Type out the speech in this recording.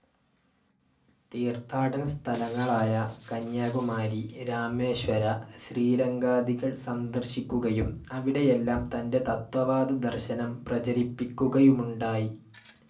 തീർത്ഥാടനസ്ഥലങ്ങളായ കന്യാകുമാരി, രാമേശ്വര, ശ്രീരംഗാദികൾ സന്ദർശിക്കുകയും അവിടെയെല്ലാം തൻ്റെ തത്വവാദ ദർശനം പ്രചരിപ്പിക്കുകയുമുണ്ടായി.